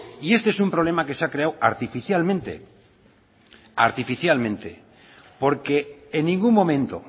y este es un problema que se ha creado artificialmente porque en ningún momento